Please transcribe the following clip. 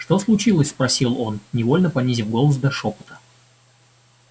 что случилось спросил он невольно понизив голос до шёпота